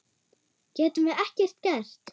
Getum við ekkert gert?